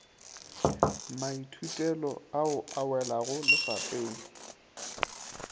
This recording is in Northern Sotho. maithutelo ao a welago lefapeng